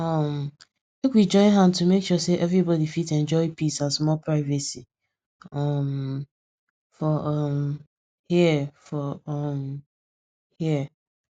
um make we join hand to make sure say everybody fit enjoy peace and small privacy um for um here for um here